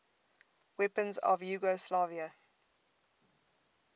weapons of yugoslavia